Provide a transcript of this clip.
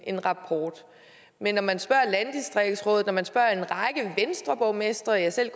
en rapport men når man spørger landdistriktsrådet når man spørger en række venstreborgmestre ja selv